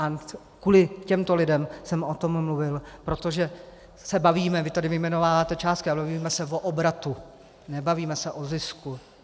A kvůli těmto lidem jsem o tom mluvil, protože se bavíme - vy tady vyjmenováváte částky - ale bavíme se o obratu, nebavíme se o zisku.